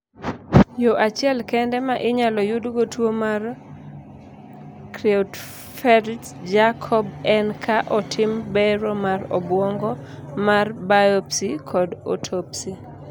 yoo achiel kende ma inyalo yudgo tuo mar Creutzfeldt Jakob en ka otim bero mar obwongo mar biospy kata autospy